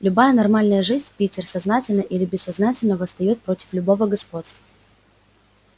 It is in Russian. любая нормальная жизнь питер сознательно или бессознательно восстаёт против любого господства